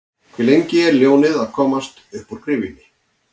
Hve lengi er ljónið að komast uppúr gryfjunni?